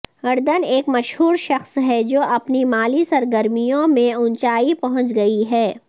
اردن ایک مشہور شخص ہے جو اپنی مالی سرگرمیوں میں اونچائی پہنچ گئی ہے